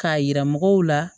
K'a yira mɔgɔw la